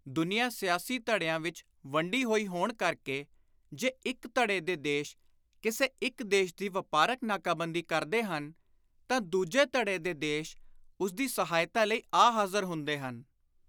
ਦੁਨੀਆਂ ਸਿਆਸੀ ਧੜਿਆਂ ਵਿਚ ਵੰਡੀ ਹੋਈ ਹੋਣ ਕਰਕੇ ਜੇ ਇਕ ਧੜੇ ਦੇ ਦੇਸ਼ ਕਿਸੇ ਇਕ ਦੇਸ਼ ਦੀ ਵਾਪਾਰਕ ਨਾਕਾਬੰਦੀ ਕਰਦੇ ਹਨ ਤਾਂ ਦੂਜੇਧੜੇ ਦੇ ਦੇਸ਼ ਉਸਦੀ ਸਹਾਇਤਾ ਲਈ ਆ ਹਾਜ਼ਰ ਹੁੰਦੇ ਹਨ।